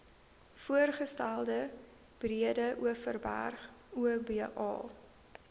voorgestelde breedeoverberg oba